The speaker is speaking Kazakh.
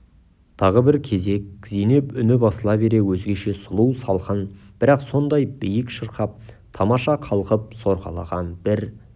тағы бір кезек зейнеп үні басыла бере өзгеше сұлу салқын бірақ сондай биік шырқап тамаша қалқып сорғалаған бір